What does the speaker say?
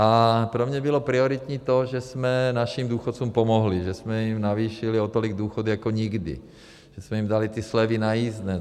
A pro mě bylo prioritní to, že jsme našim důchodcům pomohli, že jsme jim navýšili o tolik důchody jako nikdy, že jsme jim dali ty slevy na jízdné.